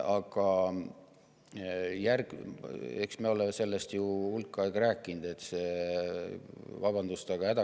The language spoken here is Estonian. Aga eks me ole sellest ju hulk aega rääkinud, et see – vabandust!